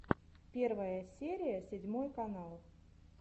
первая серия седьмой канал